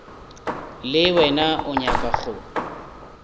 le wena o nyaka go